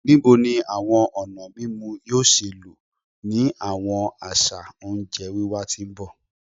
Nibo ni awọn ọna mimu yoo ṣee lo ni awọn aṣa onjẹ wiwa ti n bọ?